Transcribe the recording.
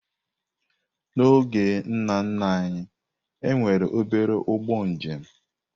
N'oge ndị nna nna anyị, e nwere obere ụgbọ njem.